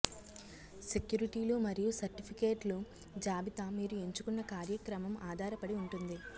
సెక్యూరిటీలు మరియు సర్టిఫికేట్లు జాబితా మీరు ఎంచుకున్న కార్యక్రమం ఆధారపడి ఉంటుంది